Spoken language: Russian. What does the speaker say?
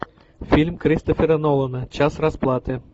фильм кристофера нолана час расплаты